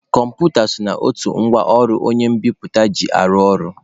Kọmputa so n'otu ngwa ọrụ onye mbiputa ji arụ ọrụ.